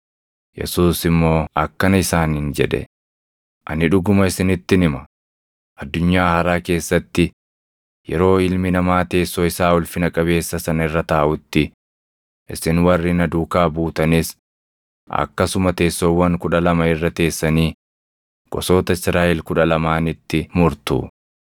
Yesuus immoo akkana isaaniin jedhe; “Ani dhuguma isinittin hima; addunyaa haaraa keessatti, yeroo Ilmi Namaa teessoo isaa ulfina qabeessa sana irra taaʼutti, isin warri na duukaa buutanis akkasuma teessoowwan kudha lama irra teessanii gosoota Israaʼel kudha lamaanitti murtu.